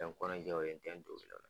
N mɛ n kɔnɔnjɛw ye